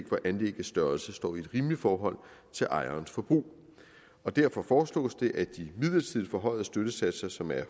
hvor anlæggets størrelse står i et rimeligt forhold til ejerens forbrug og derfor foreslås det at de midlertidigt forhøjede støttesatser som er